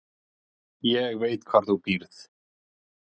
Ég veit hvar þú býrð